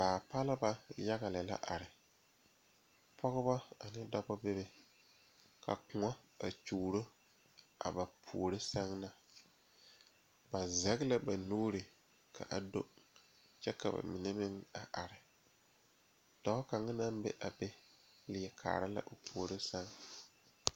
pɔgeba ane dɔɔba bebe ka bamine taa konpitare ka bamine meŋ zeŋ ka bamine meŋ are ka bamine su kpare sɔglɔ kaa ba tabol nazu naŋ zeŋ leri kaare la o puori san.